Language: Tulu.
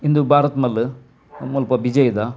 ಉಂದು ಭಾರತ್ ಮಲ್ಲ್ ಮುಲ್ಪ ಬಿಜೈ ದ.